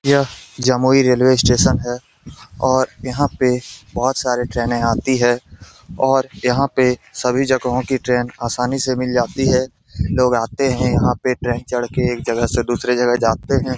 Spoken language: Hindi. यह जमुई रेलवे स्टेशन है और यहाँ पे बहुत सारे ट्रेनें आती है और यहाँ पर सभी जगहों की ट्रेन आसानी से मिल जाती है। लोग आते हैं यहाँ पे ट्रेन चढ़ के एक जगह से दूसरे जगह जाते हैं।